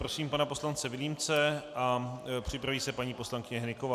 Prosím pana poslance Vilímce a připraví se paní poslankyně Hnyková.